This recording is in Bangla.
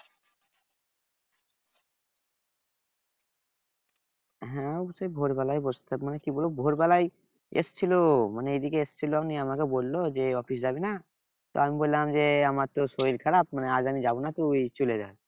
হ্যাঁ অবস্যই ভোর বেলায় কি বলবো ভোর বেলায় এসেছিলো মানে এইদিকে এসেছিলো আমাকে বললো যে office যাবি না? তো আমি বললাম যে আমার তো শরীর খারাপ মানে আজ আমি যাব না তুই চলে যা